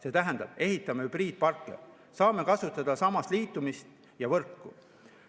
See tähendab: ehitame hübriidparke, saame kasutada sama liitumist ja võrku.